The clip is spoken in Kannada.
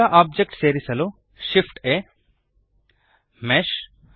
ಹೊಸ ಓಬ್ಜೆಕ್ಟ್ ಸೇರಿಸಲು Shift ಆ್ಯಂಪ್ ಆ ಮೆಶ್